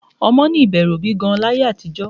Ọmọ ní ìbẹ̀rù òbí gan-an láyé àtijọ́